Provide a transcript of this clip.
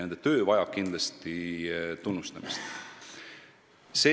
Nende inimeste töö vajab kindlasti tunnustamist.